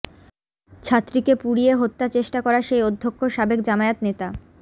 ছাত্রীকে পুড়িয়ে হত্যা চেষ্টা করা সেই অধ্যক্ষ সাবেক জামায়াত নেতা